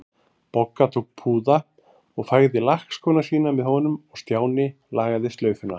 Bogga tók púða og fægði lakkskóna sína með honum og Stjáni lagaði slaufuna.